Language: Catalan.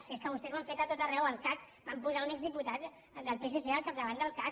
si és que vostès ho han fet a tot arreu al cac van posar un exdiputat del psc al capdavant del cac